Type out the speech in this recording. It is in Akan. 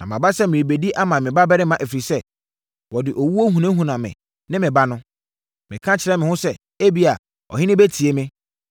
“Na maba sɛ merebɛdi ama me babarima, ɛfiri sɛ, wɔde owuo hunahuna me ne me ba no. Meka kyerɛɛ me ho sɛ, ‘Ebia, ɔhene bɛtie me,